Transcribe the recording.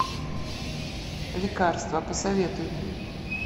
лекарства посоветуй мне